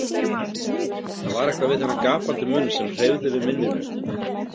Það var eitthvað við þennan gapandi munn sem hreyfði við minninu.